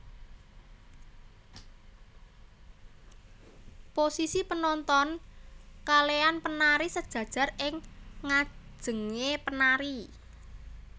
Posisi penonoton kalean penari sejajar ing nganjenge penari